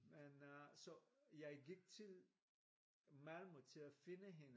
Men øh så jeg gik til Malmø til at finde hende